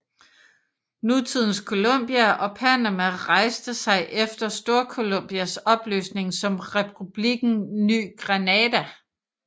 Nutidens Colombia og Panama rejste sig efter Storcolombias opløsning som Republikken Ny Granada